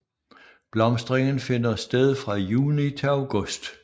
Blomstringen finder sted fra juni til august